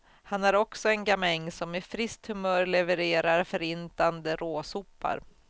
Han är också en gamäng, som med friskt humör levererar förintande råsopar.